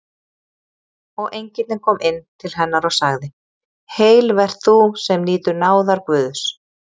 Og engillinn kom inn til hennar og sagði: Heil vert þú, sem nýtur náðar Guðs!